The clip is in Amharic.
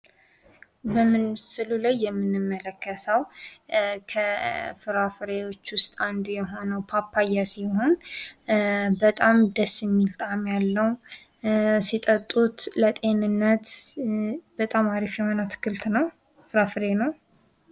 በምስሉ ላይ የምንመለከተው ከፍራፍሬዎች ውስጥ አንዱ የሆነው ፓፓየ ሲሆን በጣም ደስ የሚል ጣእም ያለው። ሲጠጡት ለጤንነት በጣም ሀሪፍ የሆነ ፍራፍሬ ነው።